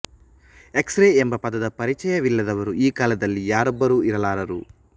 X ray ಎಂಬ ಪದದ ಪರಿಚಯವಿಲ್ಲದವರು ಈ ಕಾಲದಲ್ಲಿ ಯಾರೊಬ್ಬರು ಇರಲಾರರು